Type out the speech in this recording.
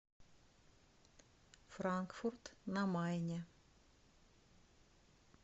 франкфурт на майне